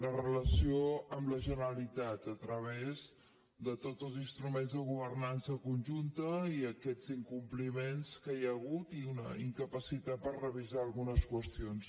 la relació amb la generalitat a través de tots els instruments de governança conjunta i aquests incompliments que hi ha hagut i una incapacitat per revisar algunes qüestions